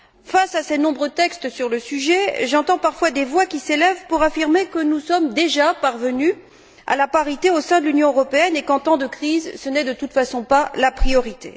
Face à ces nombreux textes sur le sujet, j'entends parfois des voix qui s'élèvent pour affirmer que nous sommes déjà parvenus à la parité au sein de l'Union européenne et qu'en temps de crise, ce n'est de toute façon pas la priorité.